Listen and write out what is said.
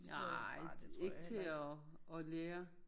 Nej ikke til at at lære